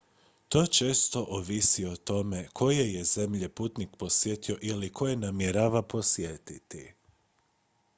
to često ovisi o tome koje je zemlje putnik posjetio ili koje namjerava posjetiti